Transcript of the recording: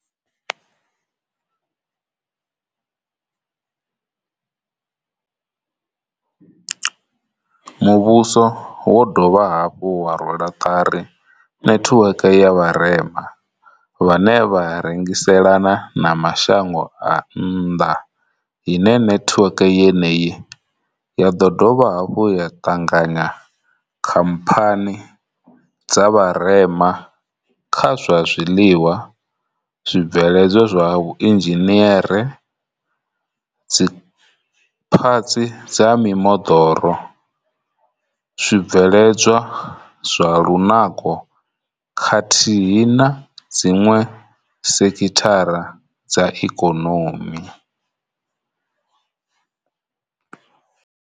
Muvhuso wo dovha hafhu wa rwela ṱari netiweke ya vharema vhane vha rengiselana na mashango a nnḓa ine netiweke yeneyi ya ḓo dovha hafhu ya ṱanganya khamphani dza vha rema kha zwa zwiḽiwa, zwi bveledzwa zwa vhuinzhiniere, dzi phatsi dza mimoḓoro, zwi bveledzwa zwa lunako khathihi na dziṅwe sekhithara dza ikonomi.